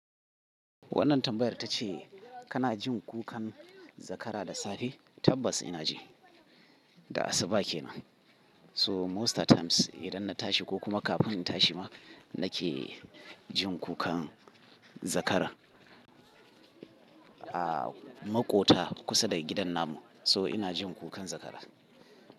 Wannan tambayar ta ce kana jin kukan zakara da safe? Tabbas ina ji, da asuba kenan. So most times idan na tashi ko kuma kafin in tashi ma nake jin kukan zakara a maƙota kusa da gidan namu. So ina jin kukan zakara.